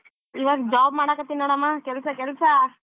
ಇವಾಗ job ಮಾಡಕ್ಕತ್ತಿನಿ ನೋಡಮ್ಮಾ ಕೆಲ್ಸ ಕೆಲ್ಸ.